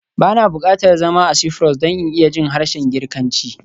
Ba na buƙatar zama a Cyprus don in iya jin harshen Girkanci